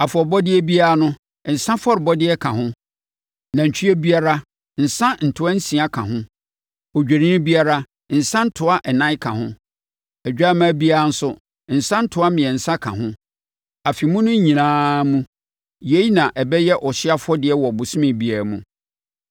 Afɔrebɔdeɛ biara no, nsã afɔrebɔ ka ho. Nantwie biara, nsã ntoa nsia ka ho. Odwennini biara, nsã ntoa ɛnan ka ho. Odwammaa biara nso, nsã ntoa mmiɛnsa ka ho. Afe mu no nyinaa mu, yei na ɛbɛyɛ ɔhyeɛ afɔdeɛ wɔ bosome biara mu.